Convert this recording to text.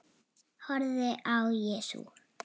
Dóra fitjaði upp á nefið.